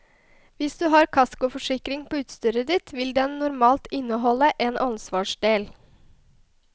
Hvis du har kaskoforsikring på utstyret ditt vil den normalt inneholde en ansvarsdel.